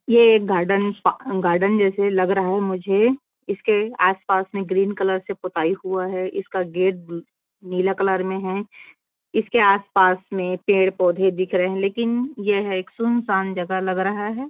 ये एक गार्डन पा गार्डन जैसा लग रहा है मुझे इसके आस-पास में ग्रीन कलर से पुताई हुआ है इसका गेट ब्लू नीला कलर में है इसके आस-पास में पेड़-पौधे दिख रहे है लेकिन यह एक सुनसान जगह लग रहा है।